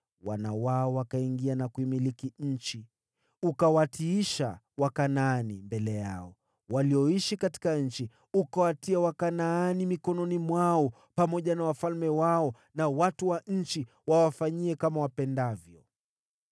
Wana wao wakaingia na kuimiliki nchi. Uliwatiisha Wakanaani mbele yao, walioishi katika nchi, ukawatia Wakanaani mikononi mwao, pamoja na wafalme wao na watu wa nchi, wawafanyie kama wapendavyo.